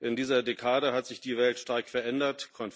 In dieser Dekade hat sich die Welt stark verändert.